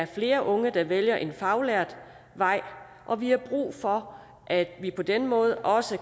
flere unge vælger en faglært vej og vi har brug for at vi på den måde også